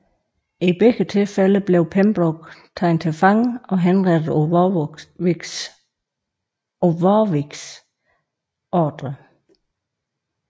I begge tilfælde blev Pembroke taget til fange og henrettet på Warwicks ordre